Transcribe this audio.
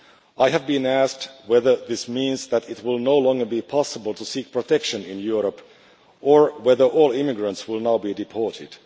I have been asked whether this means that it will no longer be possible to seek protection in Europe or whether all immigrants will now be deported.